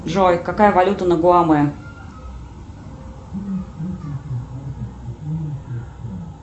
джой какая валюта на гуаме